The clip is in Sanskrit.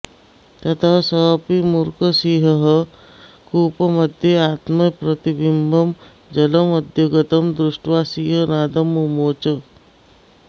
ततः सोऽपि मूर्खः सिंहः कूपमध्य आत्मप्रतिबिम्बं जलमध्यगतं दृष्ट्वा सिंहनादं मुमोच